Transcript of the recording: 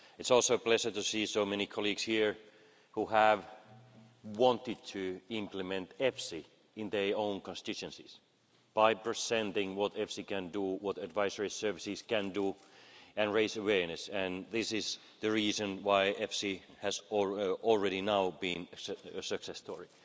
It is also a pleasure to see so many colleagues here who have wanted to implement EFSI in their own constituencies by presenting what EFSI can do, what advisory services can do and raise awareness, and this is the reason why EFSI has already been a success story.